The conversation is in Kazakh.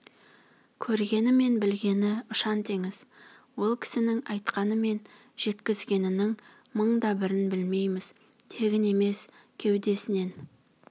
көргені мен білгені ұшан-теңіз ол кісінің айтқаны мен жеткізгенінің мың да бірін білмейміз тегін емес кеудесінен